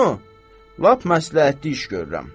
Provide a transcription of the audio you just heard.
Bunu lap məsləhətli iş görürəm.